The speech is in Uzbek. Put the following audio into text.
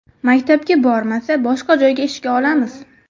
Maktabga bormasa, boshqa joyga ishga olamiz.